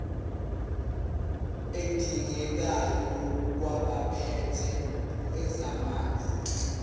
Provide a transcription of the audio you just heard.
adingekayo kwabaphethe ezamanzi